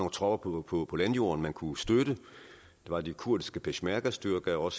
tropper på på landjorden man kunne støtte der var de kurdiske peshmergastyrker og